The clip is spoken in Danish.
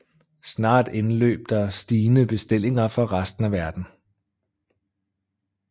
Snart indløb der stigende bestillinger fra resten af verden